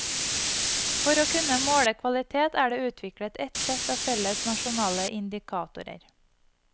For å kunne måle kvalitet, er det utviklet et sett av felles nasjonale indikatorer.